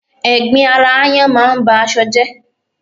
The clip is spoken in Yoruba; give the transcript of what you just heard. Ẹ̀gbin ara aáyán máa ń ba aṣọ jẹ́